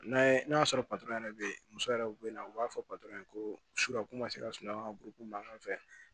N'a ye n'a sɔrɔ yɛrɛ bɛ yen muso yɛrɛ bɛ na u b'a fɔ ko sukaro ko ma se ka sunɔgɔ ka buru mankan fɛ